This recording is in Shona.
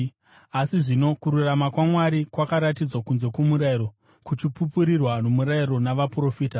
Asi zvino kururama kwaMwari, kwakaratidzwa kunze kwomurayiro, kuchipupurirwa nomurayiro navaprofita.